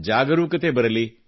ಜಾಗರೂಕತೆ ಬರಲಿ